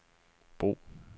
brug